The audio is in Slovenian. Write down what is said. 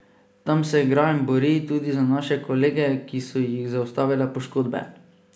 Tam se igra in bori, tudi za naše kolege, ki so jih zaustavile poškodbe.